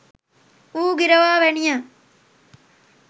වූ ගිරවා වැනිය.